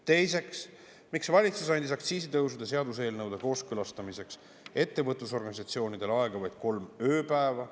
Teiseks, miks valitsus andis aktsiisitõusude seaduseelnõude kooskõlastamiseks ettevõtlusorganisatsioonidele aega vaid kolm ööpäeva?